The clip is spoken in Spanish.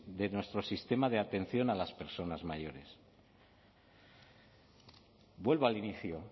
de nuestro sistema de atención a las personas mayores vuelvo al inicio